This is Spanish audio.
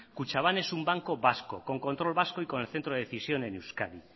kutxabank es un banco vasco con control vasco y con el centro de decisión en euskadi